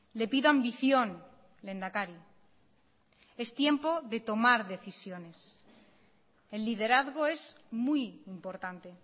le pido ambición lehendakari es tiempo de tomar decisiones el liderazgo es muy importante